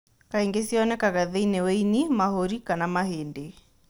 Kaingĩ cionekaga thĩinĩ wa ĩni, mahũri kana mahĩndĩ.